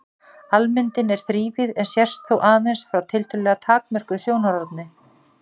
Almyndin er þrívíð en sést þó aðeins frá tiltölulega takmörkuðu sjónarhorni.